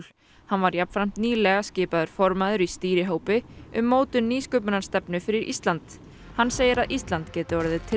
hann var jafnframt nýlega skipaður formaður í stýrihópi um mótun nýsköpunarstefnu fyrir Ísland hann segir að Ísland gæti orðið